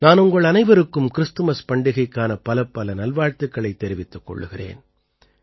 நான் உங்கள் அனைவருக்கும் கிறிஸ்துமஸ் பண்டிகைக்கான பலப்பல நல்வாழ்த்துக்களைத் தெரிவித்துக் கொள்கிறேன்